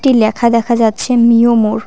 একটি ল্যাখা দেখা যাচ্ছে মিও মোর ।